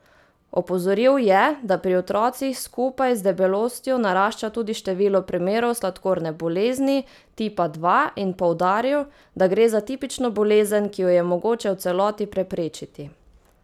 Opozoril je, da pri otrocih skupaj z debelostjo narašča tudi število primerov sladkorne bolezni tipa dva, in poudaril, da gre za tipično bolezen, ki jo je mogoče v celoti preprečiti.